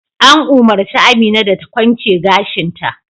An umurci Amina da ta kwance gashin ta!